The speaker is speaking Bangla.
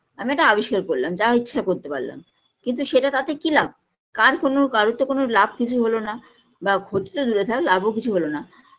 আমি একটা আবিষ্কার করলাম যা ইচ্ছা করতে পারলাম কিন্তু সেটা তাতে কী লাভ কার কোনো কারোর তো কোনো লাভ কিছু হলোনা বা ক্ষতি তো দূরে থাক লাভ ও কিছু হলোনা